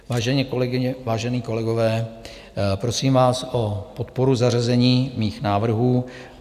Vážené kolegyně, vážení kolegové, prosím vás o podporu zařazení mých návrhů.